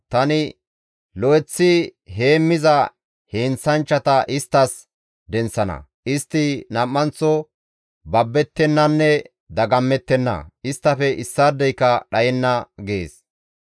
Tani lo7eththi heemmiza heenththanchchata isttas denththana; istti nam7anththo babbettennanne dagammettenna; isttafe issaadeyka dhayenna» gees.